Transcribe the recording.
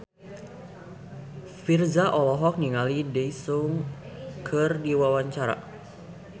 Virzha olohok ningali Daesung keur diwawancara